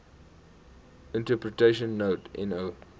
interpretation note no